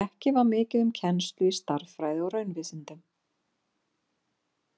Ekki var mikið um kennslu í stærðfræði og raunvísindum.